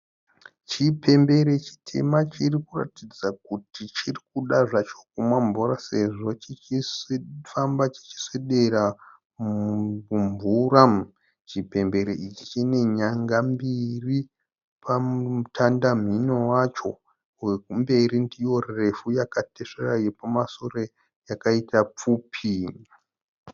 Chipembere chitema chirikuratidza kuti chirikuda zvacho kumwa mvura sezvo chirikufamba chichiinda kumvura. Chipembere ichi chine nyanga mbiri pamutanda mhino wacho, yekumberi ndiyo refu yakatesvera yekumasure ndiyo pfupi.